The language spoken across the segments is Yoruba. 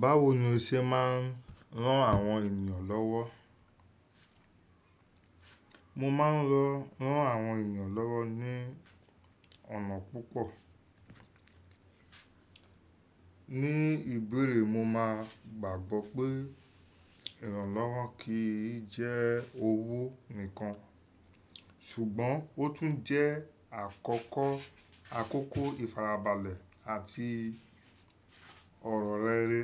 Báwo ni o ṣe máa ń rán àwọn ènìyàn lọ́wọ́? Mo máa ń-- ro, rán àwọn ènìyàn lọ́wọ́ ní ọ̀nà púpọ̀. Ní ìbéèrè mo máa gbàgbọ́ pé ìrànlọ́wọ́ kìí jẹ́ owó nìkan ṣùgbọ́n ó tún jẹ́ àkọ́kọ́ àkókò ìfarabalẹ̀ àti ọ̀rọ̀ rere.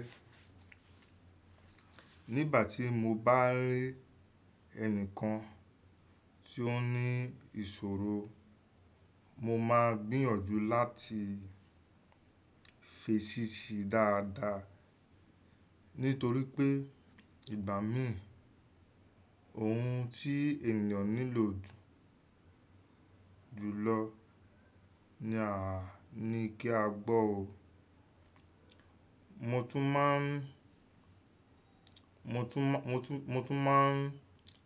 Nígbà tí mo bá rí ẹnìkan tí ó ní ìṣòro, mo máa n gbìyànjú láti fèsì si dáadáa. Nítorí pé ìgbà mìíràn ohun tí ènìyàn nílò jù jùlọ ni a ní kí a gbọ́ o. Mo tún máa ń, mo tún, mo tún, mo tún máa ń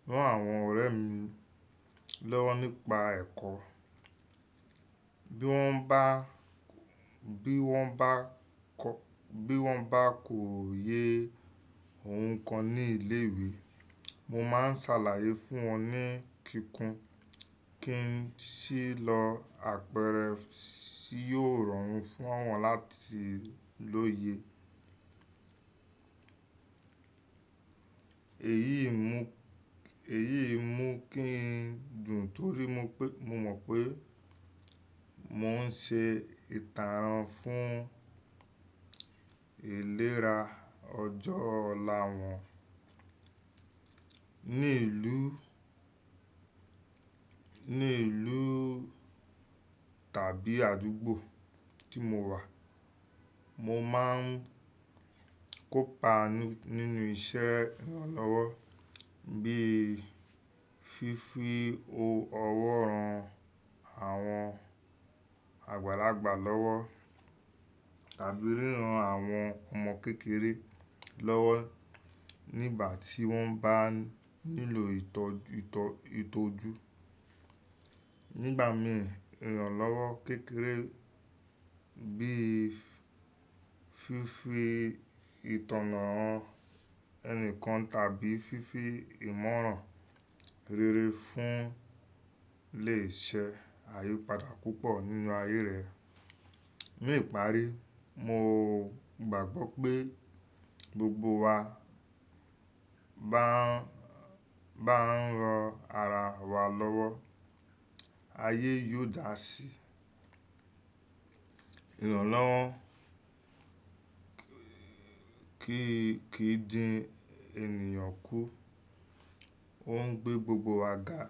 rán àwọn ọ̀rẹ́ mi lọ́wọ́ nípa ẹ̀kọ́. Bí wọ́n bá, bí wọ́n bá kọ́, bí wọ́n bá kò yé ohun kan ní ilé ìwé, mo máa ń ṣàlàyé fún wọn ní kíkún kí n sí lọ àpẹrẹ tí yóò rọrùn fún wọn láti l'òye. Èyíi mú, èyíì mú kí n dùn torí mo pé, mo mọ̀ pé mò ń ṣe ìtànràn fún ìlera ọjọ́ ọ̀la wọn. Ní ìlú, ní ìlú tàbí àdúgbò tí mo wà, mo máa ń kópa nínú iṣẹ́ ìrànlọ́wọ́ bíi fífi owó ọwọ́ ran àwọn àgbàlagbà lọ́wọ́ tàbí ríran àwọn ọmọ kékeré lọ́wọ́ nígbà tí wọ́n bá nílò ìtọ́ju. Nígbàmii ìrànlọ́wọ́ kékeré bí i fífi ìtànà han ẹni kan tàbí fífi ìmọ̀ràn rere fún lè ṣe àyípadà púpọ̀ nínú ayé rẹ̀. Ní ìparí, mo gbàgbọ́ pé gbogbo wa bá ń, bá ń ran ara wa lọ́wọ́, ayé yóò dà sí. Ìrànlọ́wọ́ kìí, kìí dín ènìyàn kú, ó ń gbé gbogbo wa ga.